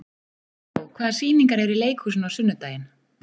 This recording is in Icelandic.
Ríó, hvaða sýningar eru í leikhúsinu á sunnudaginn?